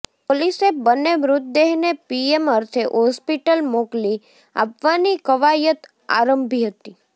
પોલીસે બન્ને મૃતદેહને પીએમ અર્થે હોસ્પિટલ મોકલી આપવાની કવાયત આરંભી હતી